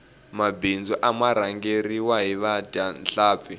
mabindzu ama rhangeriwa hi vadya nhlampfi